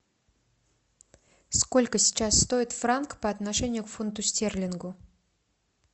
сколько сейчас стоит франк по отношению к фунту стерлингов